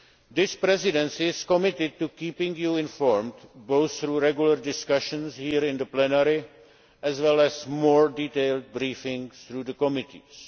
This Presidency is committed to keeping you informed, both through regular discussions here in the plenary, as well as more detailed briefings through the committees.